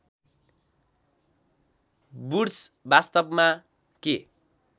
woods वास्तवमा के